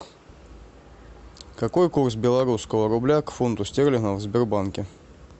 какой курс белорусского рубля к фунту стерлингов в сбербанке